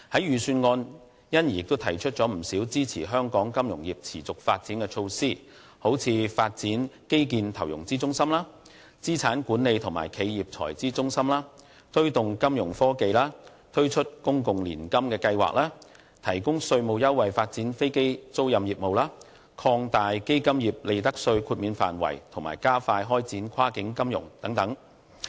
預算案因而提出了不少支持香港金融業持續發展的措施，例如發展基建投融資中心、資產管理和企業財資中心、推動金融科技、推出公共年金計劃、提供稅務優惠發展飛機租賃業務、擴大基金業利得稅豁免範圍和加快開展跨境金融等。